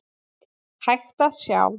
hægt að sjá.